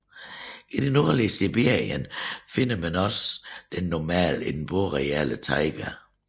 I det nordlige Sibirien finder man den normalt i den boreale taiga